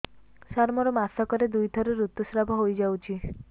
ସାର ମୋର ମାସକରେ ଦୁଇଥର ଋତୁସ୍ରାବ ହୋଇଯାଉଛି